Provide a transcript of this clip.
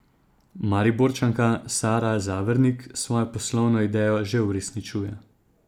Mariborčanka Sara Zavernik svojo poslovno idejo že uresničuje.